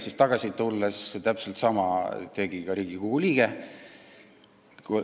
Kui tagasi tulin, siis täpselt sama sõna kasutas üks Riigikogu liige.